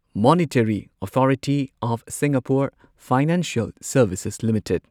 monetary authority of Singapore financial services limited